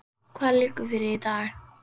Hvað liggur fyrir í dag?